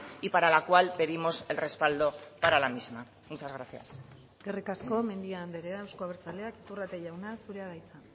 y para la cual pedimos el respaldo para la misma muchas gracias eskerrik asko mendia andrea euzko abertzaleak iturrate jauna zurea da hitza